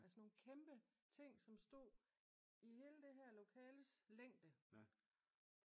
Altså nogen kæmpe ting der stod i hele det her lokales længde